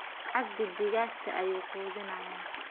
Cabdi digagta ayu qudinaya.